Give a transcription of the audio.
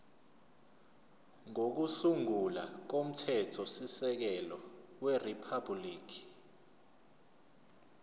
kokusungula komthethosisekelo weriphabhuliki